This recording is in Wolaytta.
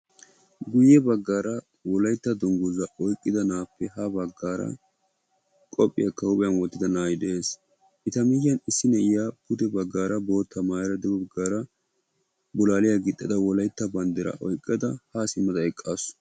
guyye baggara wolaytta dungguza oyqqida na'appe ha baggara qophiyaaka huuphiyaan eqqida na'ay de'ees; eta miyiyyan issi na'iyaa pudde baggara bootta maayyada dugge baggara bolalliyaa gixxada wolaytta banddira oyqqada ha simmada eqqaasu.